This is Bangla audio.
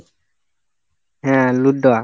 হ্যাঁ লুদ্যা।